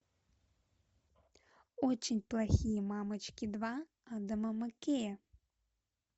очень плохие мамочки два адама маккея